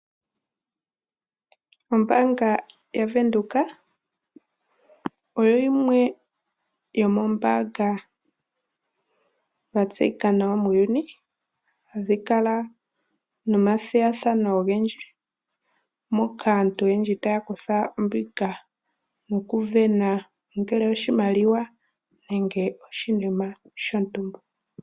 Ombaanga yavenduka oyo yimwe yo mombaanga yatseyika nawa muuyuni, hadhi kala nomathigathano ogendji, moka aantu oyendji taya kutha ombinga mokuvena ongele oshimaliwa nenge oshinima shontumba.